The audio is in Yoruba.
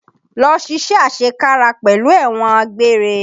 Lọ ṣiṣé àṣekára pẹ̀lú ẹ̀wọ̀n àgbéré!